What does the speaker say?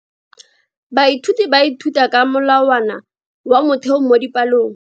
Baithuti ba ithuta ka molawana wa motheo mo dipalong.